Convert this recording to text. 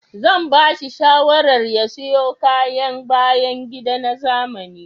Zan bashi shawarar ya siyo kayan bayan gida na zamani